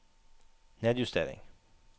nedjustering